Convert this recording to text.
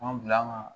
Anw bila an ka